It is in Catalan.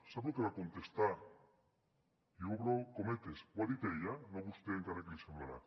sap lo que va contestar i obro cometes ho ha dit ella no vostè encara que l’hi semblarà